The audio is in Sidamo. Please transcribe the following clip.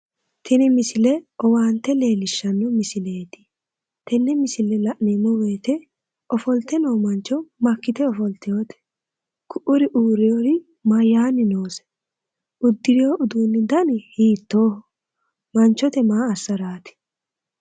Tini misile owaante leellishshanno misileeti tenne misile la'neemmo woyite ofolte noo mancho makkite ofoltewote? Ku'uri uurrinori mayitanni noose uddirino udduunni dani hiittooho? Manchote maa assaraati?